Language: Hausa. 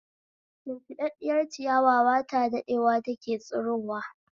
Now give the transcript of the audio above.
Shimfiɗaɗɗiyar ciyawa ba ta daɗewa take tsirowa